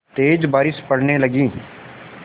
तेज़ बारिश पड़ने लगी